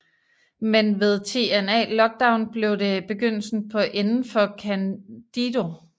Men ved TNA Lockdown blev det begyndelsen på enden for Candido